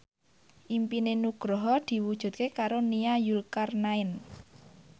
impine Nugroho diwujudke karo Nia Zulkarnaen